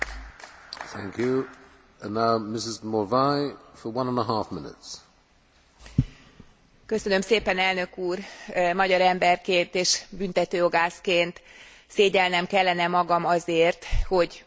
Magyar emberként és büntetőjogászként szégyellnem kellene magam azért, hogy ma itt az Európai Parlamentben a büntetőeljárás jogi garanciáinak hiányáról beszélve két esetben,